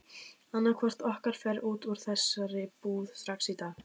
Annaðhvort okkar fer út úr þessari íbúð strax í dag!